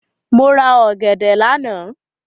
Mo rà ọ̀gẹ̀dẹ̀ lánàá.